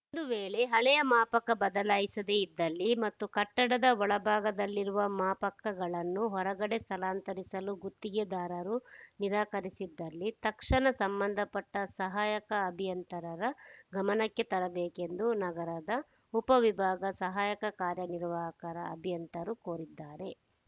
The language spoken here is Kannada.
ಒಂದು ವೇಳೆ ಹಳೆಯ ಮಾಪಕ ಬದಲಾಯಿಸದೆ ಇದ್ದಲ್ಲಿ ಮತ್ತು ಕಟ್ಟಡದ ಒಳಭಾಗದಲ್ಲಿರುವ ಮಾಪಕಗಳನ್ನು ಹೊರಗಡೆ ಸ್ಥಳಾಂತರಿಸಲು ಗುತ್ತಿಗೆದಾರರು ನಿರಾಕರಿಸಿದಲ್ಲಿ ತಕ್ಷಣ ಸಂಬಂಧಪಟ್ಟಸಹಾಯಕ ಅಭಿಯಂತರರ ಗಮನಕ್ಕೆ ತರಬೇಕೆಂದು ನಗರ ಉಪವಿಭಾಗ ಸಹಾಯಕ ಕಾರ್ಯನಿರ್ವಾಹಕ ಅಭಿಯಂತರರು ಕೋರಿದ್ದಾರೆ